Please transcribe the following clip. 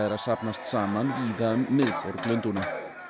að safnast saman víða um miðborg Lundúna